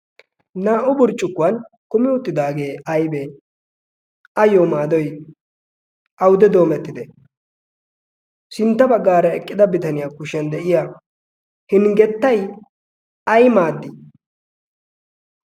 naa77o burccukwan kumi uttidaagee aibee ? ayyo maadoi aude doomettide sintta baggaara eqqida bitaniyaa kushiyan de7iya hinggettai ai maaddi?